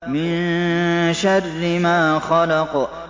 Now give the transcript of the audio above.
مِن شَرِّ مَا خَلَقَ